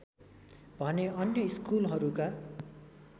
भने अन्य स्कुलहरूका